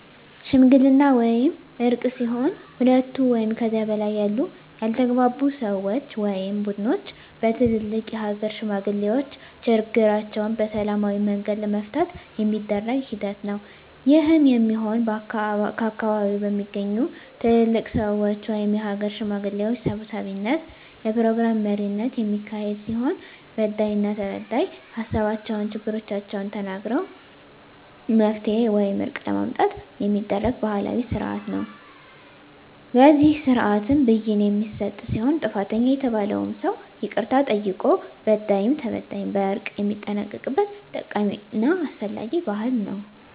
ሽምግልና ወይም እርቅ ሲሆን ሁለት ወይም ከዚያ በላይ ያሉ ያልተግባቡ ሰወች ወይም ቡድኖች በትልልቅ የሀገር ሽማግሌዎች ችግራቸዉን በሰላማዊ መንገድ ለመፍታት የሚደረግ ሂደት ነዉ። ይህም የሚሆን ከአካባቢዉ በሚገኙ ትልልቅ ሰወች(የሀገር ሽማግሌዎች) ሰብሳቢነት(የፕሮግራም መሪነት) የሚካሄድ ሲሆን በዳይና ተበዳይ ሀሳባቸዉን(ችግሮቻቸዉን) ተናግረዉ መፍትሄ ወይም እርቅ ለማምጣት የሚደረግ ባህላዊ ስርአት ነዉ። በዚህ ስርአትም ብይን የሚሰጥ ሲሆን ጥፋተኛ የተባለዉም ሰዉ ይቅርታ ጠይቆ በዳይም ተበዳይም በእርቅ የሚጠናቀቅበት ጠቃሚና አስፈላጊ ባህል ነዉ።